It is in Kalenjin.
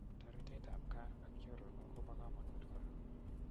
Taratet ap gaa ak chronok ko pa kamanut kora.